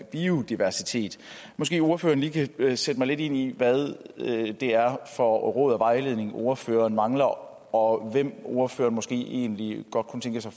biodiversitet måske ordføreren lige kan sætte mig lidt ind i hvad det er for råd og vejledning ordføreren mangler og hvem ordføreren måske egentlig godt kunne tænke sig